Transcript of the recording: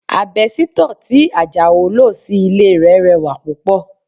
Àbẹ́sítọ̀ tí Ajao lò sí ilé rẹ̀ rẹwà púpọ̀